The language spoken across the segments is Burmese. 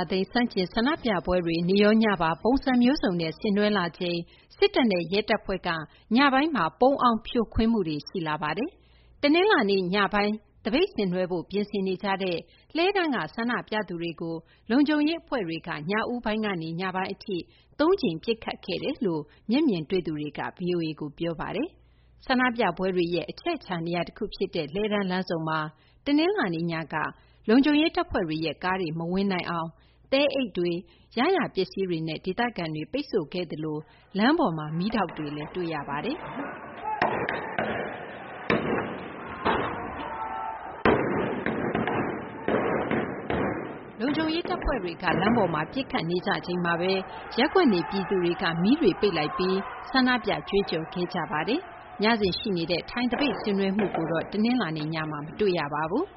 ာသိမ်း ဆန့်ကျင် ဆန္ဒပြပွဲတွေ နေ့ရော ညပါ ပုံစံမျိုးစုံနဲ့ ဆင်နွှဲလာချိန်မှာ စစ်တပ်နဲ့ ရဲတပ်ဖွဲ့က ညပိုင်းမှာ ပုန်းအောင်း ဖြိုခွင်းမှုတွေ ရှိလာနေပါတယ်။ တနလာၤနေ့ ညပိုင်း သပိတ်ဆင်းနွှဲဖို့ ပြင်ဆင်ကြတဲ့ လှည်းတန်းက ဆန္ဒပြသူတွေကို လုံခြုံရေး အဖွဲ့တွေက ညဦးပိုင်းကနေ ညပိုင်း အထိ သုံးကြိမ် ပစ်ခတ်ခဲ့တယ်လို့ မျက်မြင်တွေ့သူတွေက ဗွီအိုအေကို ပြောပါတယ်။ ဆန္ဒပြပွဲတွေရဲ့ အချက်အချာ နေရာ တခု ဖြစ်တဲ့ လှည်းတန်းလမ်းဆုံမှာ တနလာၤနေ့ ညက လုံခြုံရေး တပ်ဖွဲ့ တွေရဲ့ ကားတွေ မဝင်နိုင်အောင် သဲအိတ်တွေ ရရာ ပစ္စည်းတွေနဲ့ ဒေသခံတွေ ပိတ်ဆို့ခဲ့သလို လမ်းပေါ်မှာ မီးတောက်တွေလည်း တွေ့ရပါတယ်။ လုံခြုံရေး တပ်ဖွဲ့တွေက လမ်းပေါ်မှာ ပစ်ခတ်သံတွေကြားရချိန်မှာဘဲ ရပ်ကွက်နေ ပြည်သူတွေက မီးတွေ ပိတ်ပြီး ဆန္ဒပြ ကြွေးကြော်ခဲ့ကြပါတယ်။ ညစဉ် ရှိနေတဲ့ ထိုင်သပိတ် ဆင်နွှဲမှုကိုတော့ တနလာၤနေ့ ညမှာ မတွေ့ရပါဘူး။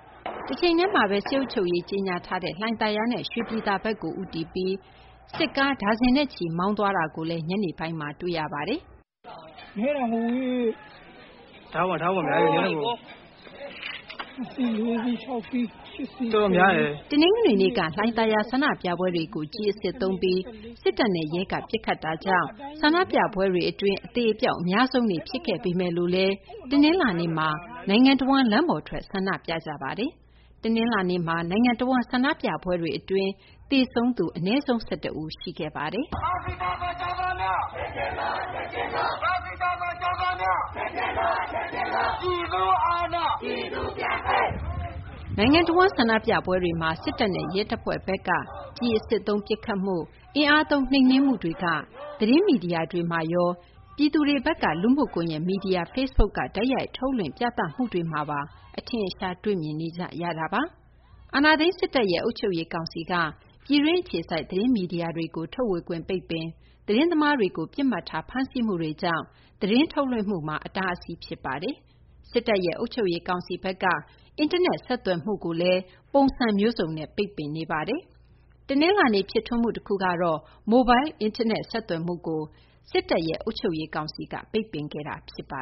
တချိန်တည်းမှာဘဲ စစ်အုပ်ချုပ်ရေး ကြေညာထားတဲ့ လှိုင်သာယာနဲ့ ရွှေပြည်သာဘက်ကို ဦးတည်ပြီး စစ်ကား ဒါဇင်နဲ့ချီ မောင်းနှင်သွားတာကိုလည်း ညနေပိုင်းမှာ တွေ့ရပါတယ်။ “နည်းတာမဟုတ်ဘူး ကား ၆ စီး ၊၇ စီး ၊၁၀ စီး၊ တော်တော်များတယ်။” တနင်္ဂနွေနေ့က လှိုင်သာယာက ဆန္ဒပြပွဲတွေကို ကျည်အစစ်သုံးပြီး စစ်တပ်နဲ့ ရဲက ပစ်ခတ်တာကြောင့် ဆန္ဒပြပွဲတွေ အတွင်း အသေအပျောက် အများဆုံးနေ့ ဖြစ်ခဲ့ပေမယ့်လည်း တနလာၤနေ့မှာ နိုင်ငံတဝန်း လမ်းပေါ်ထွက် ဆန္ဒပြခဲ့ကြပါတယ်။ တနလာၤနေ့မှာ နိုင်ငံတဝန်း ဆန္ဒပြပွဲတွေ အတွင်း သေဆုံးရသူ ၁၁ ဦး ရှိခဲ့ပါတယ်။ နိုင်ငံတဝန်း ဆန္ဒပြပွဲတွေမှာ စစ်တပ်နဲ့ ရဲတပ်ဖွဲ့ဘက်က ကျည်အစစ်သုံး ပစ်ခတ်မှု၊ အင်အားသုံး နှိမ်နင်းမှုတွေက သတင်းမီဒီယာတွေမှာရော ပြည်သူတွေဘက်က လူမှု ကွန်ရက် မီဒီယာ Facebook က တိုက်ရိုက် ထုတ်လွှင့် ပြသမှုတွေ အထင်အရှားတွေ့မြင်နေကြရတာပါ။ အာဏာသိမ်း စစ်တပ်ရဲ့ အုပ်ချုပ်ရေး ကောင်စီက ပြည်တွင်း အခြေစိုက် သတင်းမီဒီယာတွေကို ထုတ်ဝေခွင့်ပိတ်ပင်၊ သတင်းသမားတွေကို ပစ်မှတ်ထား ဖမ်းဆီးမှုတွေကြောင့် သတင်းထုတ်လွှင့်မှုမှာ အတားအဆီး ဖြစ်ခဲ့ပါတယ်။ စစ်တပ်ရဲ့ အုပ်ချုပ်ရေး ကောင်စီဘက်ကတော့ အင်တာနက် ဆက်သွယ်မှုကိုလည်း ပုံစံမျိုးစုံနဲ့ ပိတ်ပင်ခဲ့ပါတယ်။ တနလာၤနေ့ ဖြစ်ထွန်းမှု တခုကတော့ မိုလ်ဘိုင်း အင်တာနက် ဆက်သွယ်မှုကို စစ်တပ် အုပ်ချုပ်ရေးကောင်စီက ပိတ်ပင်ခဲ့တာပါ